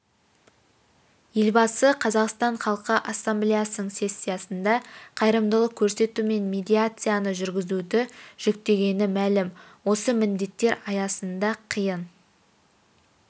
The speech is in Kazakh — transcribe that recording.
елбасы қазақстан халқы ассамблеясының сессиясында қайырымдылық көрсету мен медиацияны жүргізуді жүктегені мәлім осы міндеттер аясында қиын